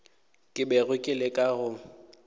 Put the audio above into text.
ke bego ke leka go